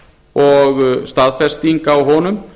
og staðfesting á honum